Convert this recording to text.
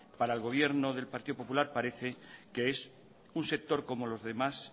para el gobierno del partido popular parece que es un sector como los demás